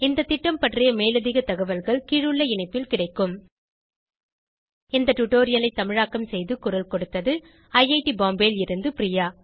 இந்த திட்டம் பற்றி மேலதிக தகவல்கள் கீழுள்ள இணைப்பில் கிடைக்கும் இந்த டுடோரியலை தமிழாக்கம் செய்து குரல் கொடுத்தது ஐஐடி பாம்பேவில் இருந்து பிரியா